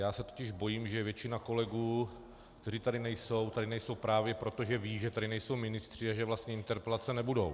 Já se totiž bojím, že většina kolegů, kteří tady nejsou, tak nejsou právě proto, že vědí, že tady nejsou ministři a že vlastně interpelace nebudou.